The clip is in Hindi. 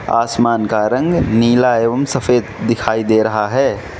आसमान का रंग नीला एवम सफेद दिखाई दे रहा है।